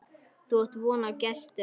Þú átt von á gestum.